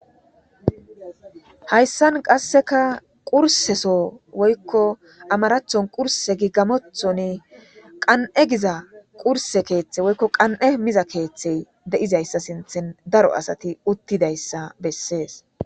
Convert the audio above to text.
Hayssan qaseka qurse soo woyko amarathon qurse gi gamothon qan'e giza qurse keethe woyko qan'e mizayssa keetha de'izayssa sinthen daro asati uttidayssa besses.